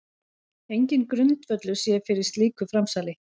Enginn grundvöllur sé fyrir slíku framsali